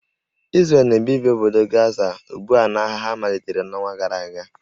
Izrel na-ebibi obodo Gaza ugbu a n'agha ha malitere n'ọnwa gara aga